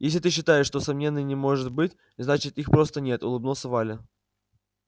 если ты считаешь что сомнений не может быть значит их просто нет улыбнулась валя